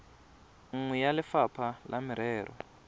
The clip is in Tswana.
nngwe ya lefapha la merero